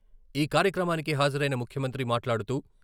ఈ కార్యక్రమానికి హాజరైన ముఖ్యమంత్రి మాట్లాడుతూ..